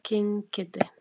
King Kiddi.